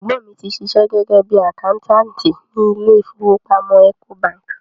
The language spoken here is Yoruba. Ẹ̀gbọ́n mi ti ṣiṣẹ́ gẹ́gẹ́ bíi àkáńtáàtì ni ilé ìfowópamọ́ Ecobank.